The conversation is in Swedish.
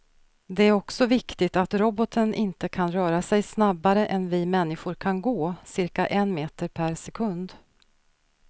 Det är också viktigt att roboten inte kan röra sig snabbare än vi människor kan gå, cirka en meter per sekund.